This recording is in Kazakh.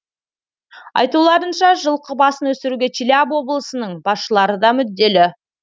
айтуларынша жылқы басын өсіруге челябі облысының басшылары да мүдделі